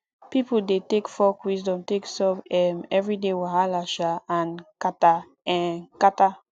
pipo dey take folk wisdom take solve um everyday wahala um and kata um kata